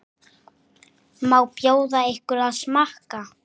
Má bjóða ykkur að smakka?